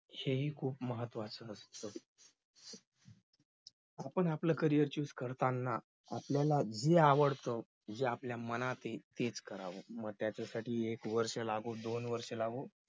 हेही खूप महत्वाचं आहे पण आपलं carrierchoose करताना आपल्याला जे आवडत जे आपल्या मनात आहे तेच करावं मग त्याच्यासाठी एक वर्ष लागो दोन वर्ष लागो